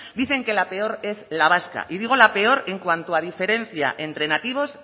dicen que la peor es la vasca y digo la peor en cuanto a diferencia entre nativos